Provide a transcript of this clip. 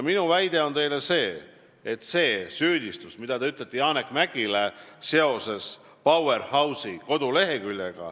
Te süüdistate Janek Mäggi seoses Powerhouse'i koduleheküljega.